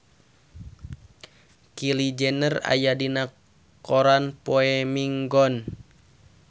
Kylie Jenner aya dina koran poe Minggon